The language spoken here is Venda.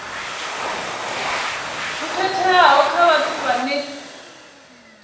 ho khetheaho kha vhathu vhane